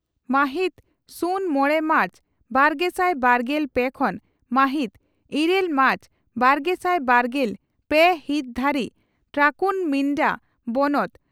ᱢᱟᱦᱤᱛ ᱥᱩᱱ ᱢᱚᱲᱮ ᱢᱟᱨᱪ ᱵᱟᱨᱜᱮᱥᱟᱭ ᱵᱟᱨᱜᱮᱞ ᱯᱮ ᱠᱷᱚᱱ ᱢᱟᱦᱤᱛ ᱤᱨᱟᱹᱞ ᱢᱟᱨᱪ ᱵᱟᱨᱜᱮᱥᱟᱭ ᱵᱟᱨᱜᱮᱞ ᱯᱮ ᱦᱤᱛ ᱫᱷᱟᱹᱨᱤᱡ ᱴᱨᱟᱠᱩᱨᱢᱤᱱᱰᱟ ᱵᱚᱱᱚᱛ